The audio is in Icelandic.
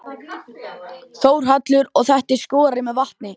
Þórhallur: Og þetta er skorið með vatni?